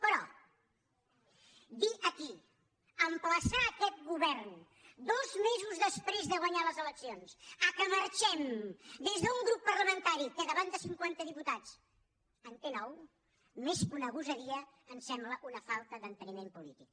però dir aquí emplaçar aquest govern dos mesos després de guanyar les eleccions que marxem des d’un grup parlamentari que davant de cinquanta diputats en té nou més que una gosadia ens sembla una falta d’enteniment polític